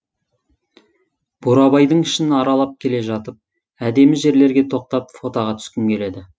бурабайдың ішін аралап келе жатып әдемі жерлерге тоқтап фотоға түскің келеді